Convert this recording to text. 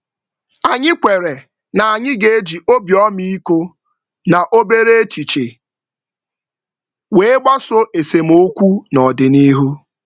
Anyị kwere na anyị ga-eji obi ọmịiko na obere echiche wee gbasoo esemokwu n'ọdịnihu.